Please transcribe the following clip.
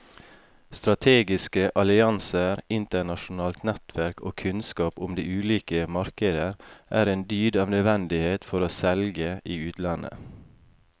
Strategiske allianser, internasjonalt nettverk og kunnskap om de ulike markeder er en dyd av nødvendighet for å selge i utlandet.